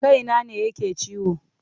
Kaina ne yake ciwo.